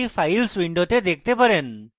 এটি files window দেখতে পারেন